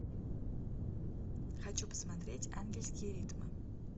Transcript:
хочу посмотреть ангельские ритмы